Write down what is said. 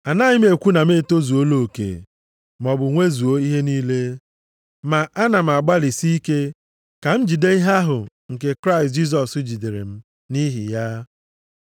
Anaghị m ekwu na m etozuola oke, maọbụ nwezuo ihe niile. Ma a na m agbalịsi ike ka m jide ihe ahụ nke Kraịst Jisọs jidere m nʼihi ya.